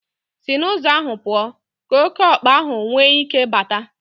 Si n'ụzọ ahụ pụọ, ka okeokpa nwee ike bata.